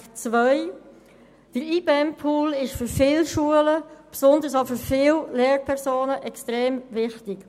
Der Pool Integration und besondere Massnahmen (IBEM) ist für viele Schulen und besonders auch für viele Lehrpersonen extrem wichtig.